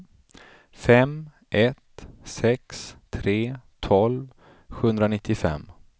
fem ett sex tre tolv sjuhundranittiofem